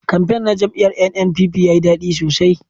Kamfen na jam'iyar NNPP yayi dadi sosai